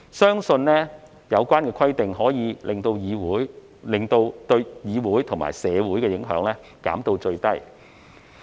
相信有關規定可以把對議會和社會的影響減至最低。